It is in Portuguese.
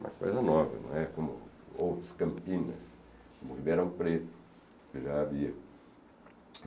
Uma coisa nova, não é como outras campinas, como o Ribeirão Preto, que já havia.